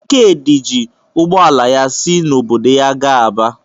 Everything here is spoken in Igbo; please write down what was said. Ikedi ji ụgbọ ala ya si n’obodo ya gaa Aba.